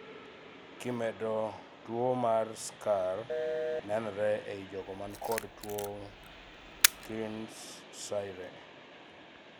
kimedo, tuo mar skar nenore ei jogo man kod tuo Kearns-Sayre